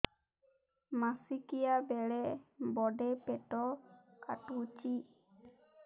ମାସିକିଆ ବେଳେ ବଡେ ପେଟ କାଟୁଚି